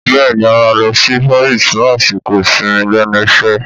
Bẹ́ẹ̀ni a máa lọ sí Paris fún àsìkò ìsinmi lẹ́nu iṣẹ́